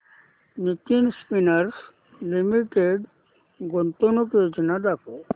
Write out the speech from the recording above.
Nitin Spinners Limited गुंतवणूक योजना दाखव